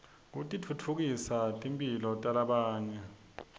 titfutfukisa timphilo talabanye